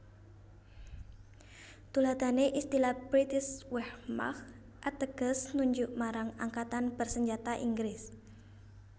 Tuladhané istilah Britische Wehrmacht ateges nunjuk marang angkatan bersenjata Inggris